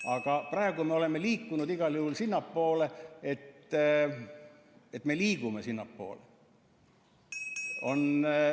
Aga praegu me oleme liikunud igal juhul sinnapoole, et me liigume sinnapoole.